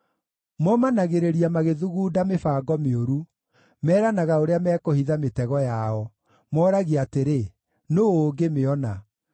Momanagĩrĩria magĩthugunda mĩbango mĩũru, meranaga ũrĩa mekũhitha mĩtego yao; mooragia atĩrĩ, “Nũũ ũngĩmĩona?”